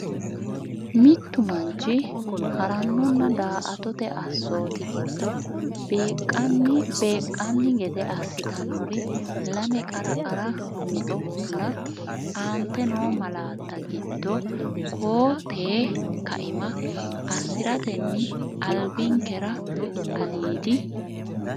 Mittu manchi ha’rannonna daa”atate assooti giddo beeqqan gede assitannori lame qara qara mixo nna, Aante noo malaatta giddo koo tee kaima assi’ratenni albinkera aliidi?